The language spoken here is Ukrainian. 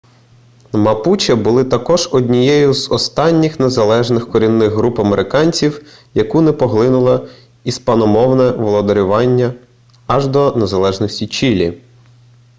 мапуче були також однією з останніх незалежних корінних груп американців яку не поглинуло іспаномовне володарювання аж до незалежності чилі